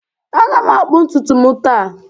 Aga m akpụ ntutu m taa